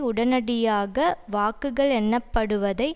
உடனடியாக வாக்குகள் எண்ணப்படுவதை